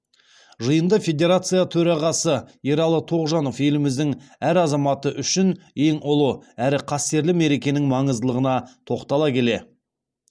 жиында федерация төрағасы ералы тоғжанов еліміздің әр азаматы үшін ең ұлы әрі қастерлі мерекенің маңыздылығына тоқтала келе